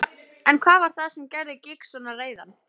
En hvað var það sem gerði Giggs svona reiðan?